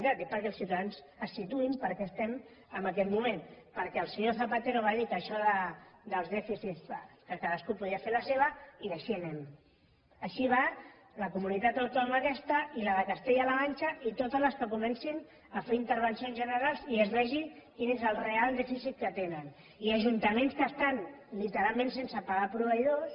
ho dic perquè els ciutadans es situïn per què estem en aquest moment perquè el senyor zapatero va dir que en això dels dèficits bah que cadascú podia fer la seva i així anem així va la comunitat autònoma aquesta i la de castella la manxa i totes les que comencin a fer intervencions generals i es vegi quin és el real dèficit que tenen i ajuntaments que estan literalment sense pagar proveïdors